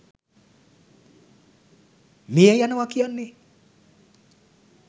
මිය යනවා කියන්නේ